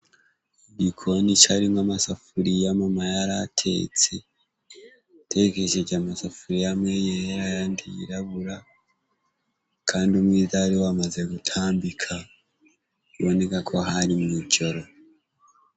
Igikoni caari mwo amasafuriya Mama yaratetse ,tekesheje amasafuri amwe yera yandi yirabura kandi umwiza ari wamaze gutambika biboneka ko hari mwijoro.